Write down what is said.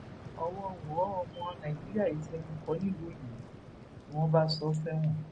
ọwọ wọ ọmọ nàìjíríà yìí fẹnu kò nílùú òyìnbó ni wọn bá sọ ọ sẹwọn